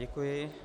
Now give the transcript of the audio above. Děkuji.